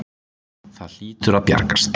Það hlýtur að bjargast.